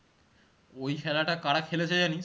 ওই খেলাটা কারা খেলেছে জানিস?